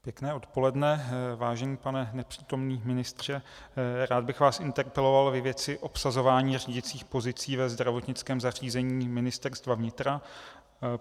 Pěkné odpoledne, vážený pane nepřítomný ministře, rád bych vás interpeloval ve věci obsazování řídicích pozic ve zdravotnickém zařízení Ministerstva vnitra.